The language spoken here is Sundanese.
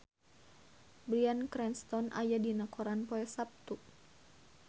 Bryan Cranston aya dina koran poe Saptu